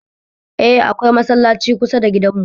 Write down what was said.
Eh, akwai masallaci kusa da gidan mu